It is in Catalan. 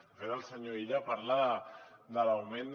de fet el senyor illa parla de l’augment de